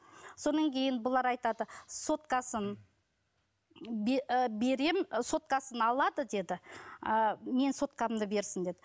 кейін бұлар айтады соткасын ы берем ы соткасын алады деді ы менің соткамды берсін деді